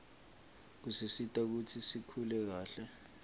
kusisita kutsi sikhule kahle